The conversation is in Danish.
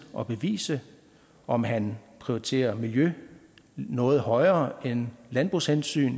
og bevise om han prioriterer miljø noget højere end landbrugshensyn